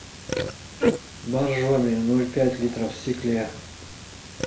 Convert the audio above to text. боржоми ноль пять литров в стекле